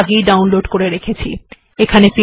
এটি আমি আগেই ডাউনলোড করে রেখেছি